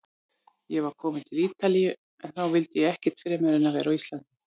Ég var kominn til Ítalíu- en þá vildi ég ekkert fremur en vera á Íslandi.